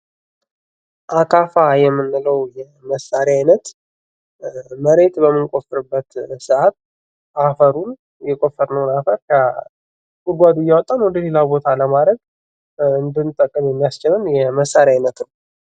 አካፋ የምንለው የመሳሪያ አይነት መሬት በምንቆፍርበት ሰአት አፈሩን የቆፈርንውን አፈር ከጉድጓዱ እያወጣን ወደ ሌላ ቦታ ለማረግ የሚያስችለን የመሳሪያ አይነት ነው።